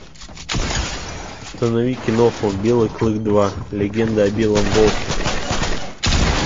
установи киноху белый клык два легенда о белом волке